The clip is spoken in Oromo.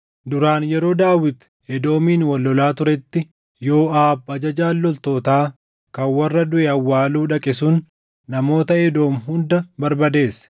Duraan yeroo Daawit Edoomiin wal lolaa turetti, Yooʼaab ajajaan loltootaa kan warra duʼe awwaaluu dhaqe sun namoota Edoom hunda barbadeesse.